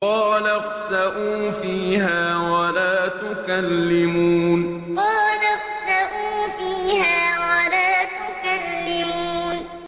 قَالَ اخْسَئُوا فِيهَا وَلَا تُكَلِّمُونِ قَالَ اخْسَئُوا فِيهَا وَلَا تُكَلِّمُونِ